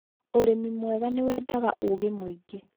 ũrĩmi mwega nĩ weendaga ũũgi mũingĩ